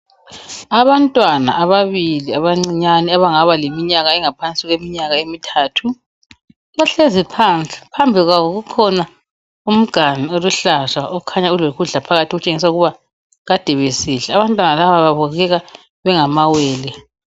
Abantwana ababili abancinyane abangaba leminyaka engaphansi kweminyaka emithathu. Bahlezi phansi phambi kwabo kukhona umganu oluhlaza okhanya ulokudla phakathi otshengisa ukuthi kade besidla. Abantwana laba babukeka bengamawele.